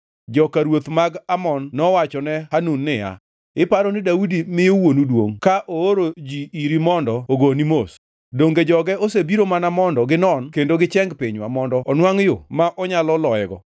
joka ruoth mag Amon nowachone Hanun niya, “Iparo ni Daudi miyo wuonu duongʼ ka ooro ji iri mondo ogoni mos? Donge joge osebiro mana mondo ginon kendo gicheng pinywa mondo onwangʼ yo ma onyalo loyego?”